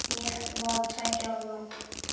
Ég var tveggja ára.